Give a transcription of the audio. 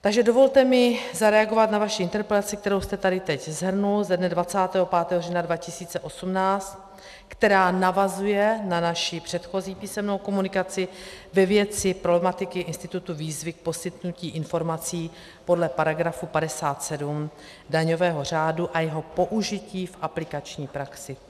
Takže dovolte mi zareagovat na vaši interpelaci, kterou jste tady teď shrnul, ze dne 25. října 2018, která navazuje na naši předchozí písemnou komunikaci ve věci problematiky institutu výzvy k poskytnutí informací podle paragrafu 57 daňového řádu a jeho použití v aplikační praxi.